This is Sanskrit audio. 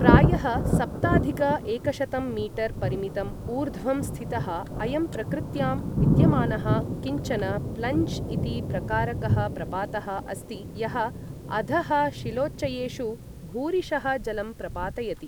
प्रायः सप्ताधिक एकशतं मीटर् परिमितम् ऊर्ध्वं स्थितः अयं प्रकृत्यां विद्यमानः किञ्चन प्लञ्ज् इति प्रकारकः प्रपातः अस्ति यः अधः शिलोच्चयेषु भूरिशः जलं प्रपातयति।